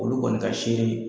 Olu kɔni ka sere ye.